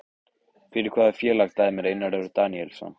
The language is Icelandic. Fyrir hvaða félag dæmir Einar Örn Daníelsson?